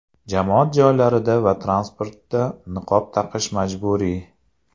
Jamoat joylarida va transportda niqob taqish majburiy.